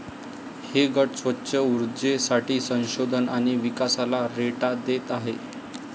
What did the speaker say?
हे गट स्वच्छ उर्जेसाठी संशोधन आणि विकासाला रेटा देत आहेत.